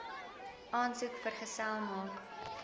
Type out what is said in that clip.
aansoek vergesel maak